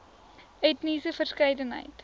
etniese verskeidenheid